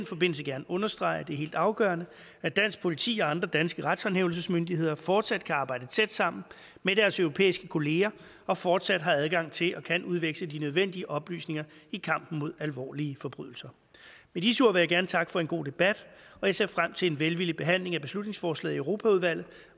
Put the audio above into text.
forbindelse gerne understrege at det er helt afgørende at dansk politi og andre danske retshåndhævelsesmyndigheder fortsat kan arbejde tæt sammen med deres europæiske kollegaer og fortsat har adgang til og kan udveksle de nødvendige oplysninger i kampen mod alvorlige forbrydelser med disse ord vil jeg gerne takke for en god debat og jeg ser frem til en velvillig behandling af beslutningsforslaget i europaudvalget